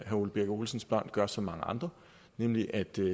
ole birk olesens børn gør som mange andre nemlig at de